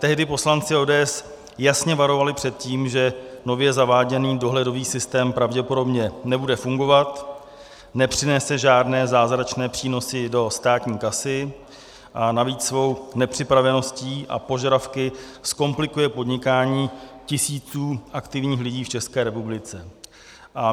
Tehdy poslanci ODS jasně varovali před tím, že nově zaváděný dohledový systém pravděpodobně nebude fungovat, nepřinese žádné zázračné přínosy do státní kasy a navíc svou nepřipraveností a požadavky zkomplikuje podnikání tisícům aktivních lidí v České republice.